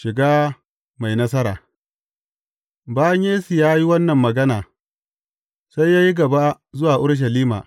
Shiga mai nasara Bayan Yesu ya yi wannan magana, sai ya yi gaba zuwa Urushalima.